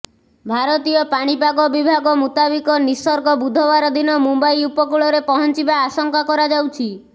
ଭାରତୀୟ ପାଣିପାଗ ବିଭାଗ ମୁତାବିକ ନିସର୍ଗ ବୁଧବାର ଦିନ ମୁମ୍ବାଇ ଉପକୂଳରେ ପହଞ୍ଚିବା ଆଶଙ୍କା କରାଯାଉଛି